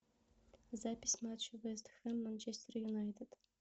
запись матча вест хэм манчестер юнайтед